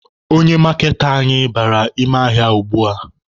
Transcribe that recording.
Onye maaketa anyị bara ime ahịa ugbua.